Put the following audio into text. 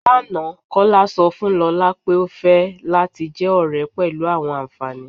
Lána, Kọla sọ fun Lọla pé ó fẹ̀ lati jẹ́ ọ̀rẹ̀ pẹ̀lú awọn ànfàní